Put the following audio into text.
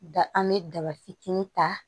Da an bɛ daba fitinin ta